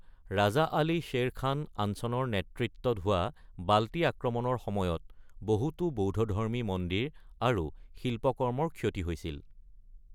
ৰাজা আলী শ্বেৰ খান আঞ্চনৰ নেতৃত্বত হোৱা বাল্টি আক্ৰমণৰ সময়ত বহুতো বৌদ্ধধৰ্মী মন্দিৰ আৰু শিল্পকৰ্মৰ ক্ষতি হৈছিল।